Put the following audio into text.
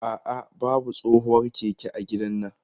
A'a, babu tsohuwar keke a gidannan.